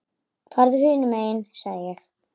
Farðu hinum megin sagði ég.